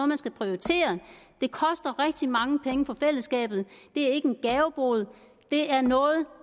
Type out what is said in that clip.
man skal prioritere det koster rigtig mange penge for fællesskabet det er ikke en gavebod det er noget